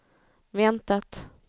väntat